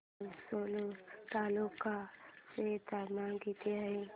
आज सेलू तालुक्या चे तापमान किती आहे